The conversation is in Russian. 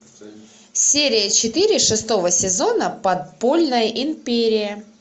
серия четыре шестого сезона подпольная империя